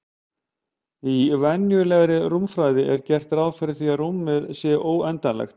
Í venjulegri rúmfræði er gert ráð fyrir því að rúmið sé óendanlegt.